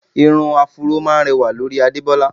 Irun áfúró máá ń rẹwà lórí Adebola